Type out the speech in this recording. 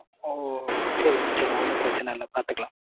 ஓ. Sorry mam sorry mam ஒன்னும் பிரச்சனை இல்ல பாத்துக்கலாம்.